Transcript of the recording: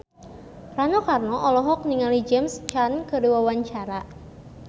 Rano Karno olohok ningali James Caan keur diwawancara